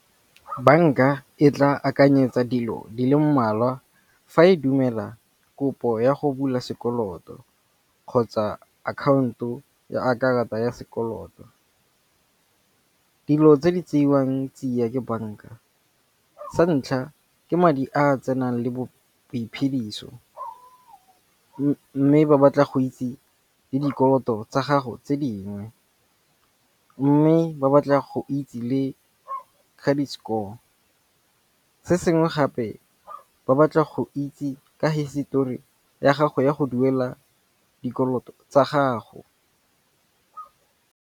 Banka e tla akanyetsa dilo di le mmalwa fa e dumela kopo ya go bula sekoloto kgotsa akhaonto ya a karata ya sekoloto. Dilo tse di tseiwang tsiya ke banka, sa ntlha ke madi a tsenang le boiphediso mme ba batla go itse le dikoloto tsa gago tse dingwe. Mme ba batla go itse le credit score. Se sengwe gape ba batla go itse ka hisetori ya gago ya go duela dikoloto tsa gago.